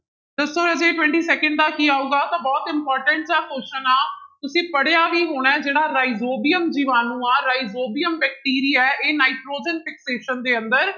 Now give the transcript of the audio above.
ਦੱਸੋ ਰਾਜੇ twenty second ਦਾ ਕੀ ਆਊਗਾ ਤਾਂ ਬਹੁਤ important ਜਿਹਾ question ਆ ਤੁਸੀਂ ਪੜ੍ਹਿਆ ਵੀ ਹੋਣਾ ਹੈ ਜਿਹੜਾ ਰਾਇਜੋਬੀਅਮ ਜੀਵਾਣੂ ਆਂ ਰਾਜਇਜੋਬੀਅਮ ਬੈਕਟੀਰੀਆ ਹੈ ਇਹ ਨਾਇਟ੍ਰੋਜਨ fixation ਦੇ ਅੰਦਰ